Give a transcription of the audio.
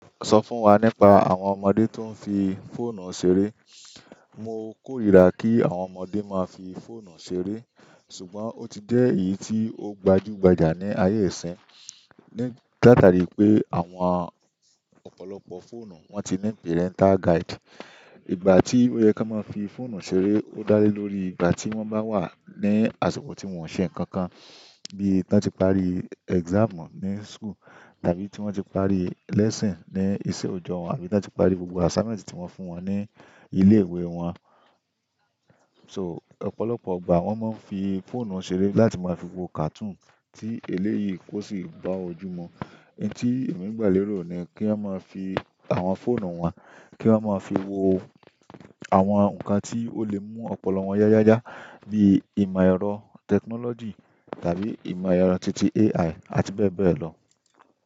Sọ fún wa nípa àwọn ọmọdé tó ń fi fóònù ṣeré. Mo kórìíra kí àwọn ọmọdé máa fi fóònù ṣeré. Ṣùgbọ́n ó ti jẹ́ èyí tí ó gbajúgbajà ní ayé ìsín. Ni táta rí pé àwọn ọ̀pọ̀lọpọ̀ fóònù wọ́n ti ní pẹ́rẹntà guide. Ìgbà tí ó yẹ kí wọ́n máa fi fóònù ṣeré ó dá lé lórí ìgbà tí wọ́n bá wà ní àsikọ̀ tí wọ́n ń ṣe nǹkan kan. Bí i tí wọ́n ti parí exam ní school, tàbí tí wọ́n ti parí lesson ní iṣẹ́ ọjọ́ wọn, àbí tí wọ́n ti parí gbogbo assignment tí wọ́n fún wọn ní ilé ìwé wọn. So ọ̀pọ̀lọpọ̀ ìgbà wọ́n máa ń fi fóònù ṣeré láti máa fi wo cartoon tí eléyìí kò sì bá ojú mu. Ẹ̀ní tí èmi gbà lérò ni kí a máa fi àwọn fóònù wọn kí wọ́n máa fi wo àwọn nǹkan tí ó lè mú ọ̀pọ̀lọpọ̀ wọn yáyáyá. Bí i ìmọ̀ ẹ̀rọ technology tàbí ìmọ̀ ẹ̀rọ titi AI àti bẹ́ẹ̀ bẹ́ẹ̀ lọ.